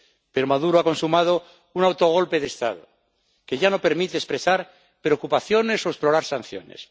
Pero Maduro ha consumado un autogolpe de Estado que ya no permite expresar preocupaciones o explorar sanciones.